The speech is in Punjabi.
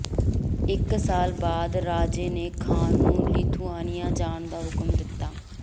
ਇਕ ਸਾਲ ਬਾਅਦ ਰਾਜੇ ਨੇ ਖ਼ਾਨ ਨੂੰ ਲਿਥੁਆਨੀਆ ਜਾਣ ਦਾ ਹੁਕਮ ਦਿੱਤਾ